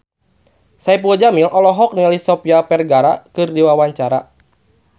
Saipul Jamil olohok ningali Sofia Vergara keur diwawancara